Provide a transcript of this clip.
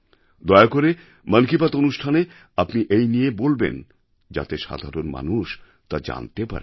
দয়া করে মন কি বাত অনুষ্ঠানে আপনি এই নিয়ে বলবেন যাতে সাধারণ মানুষ তা জানতে পারে